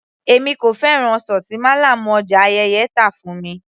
Èmi kò fẹ́ràn ọsàn tí málàmù ọjà Ayẹ́yẹ́ tà fún mi